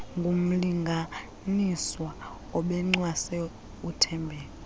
ngumlinganiswa obencwase uthembeka